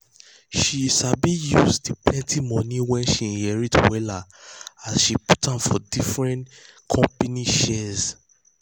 she sabi use de plenty money wey she inherit wella as she put am for different different company shares.